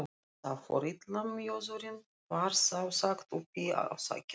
Þar fór illa mjöðurinn, var þá sagt uppi á þakinu.